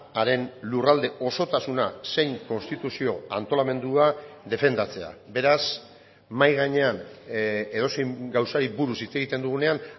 haren lurralde osotasuna zein konstituzio antolamendua defendatzea beraz mahai gainean edozein gauzari buruz hitz egiten dugunean